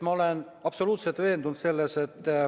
Ma olen absoluutselt veendunud selles.